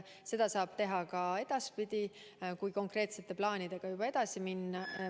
Seda saab teha ka edaspidi, kui konkreetsete plaanidega juba edasi minna.